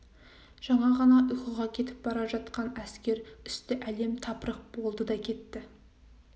жаңа ғана ұйқыға кетіп бара жатқан әскер үсті әлем-тапырық болды да кетті